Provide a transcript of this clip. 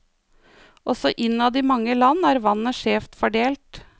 Også innad i mange land er vannet skjevt fordelt.